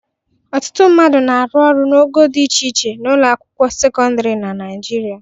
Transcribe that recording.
Ọtụtụ mmadụ na-arụ ọrụ n'ogo dị iche iche n'ụlọ akwụkwọ sekọndịrị na Naịjirịa.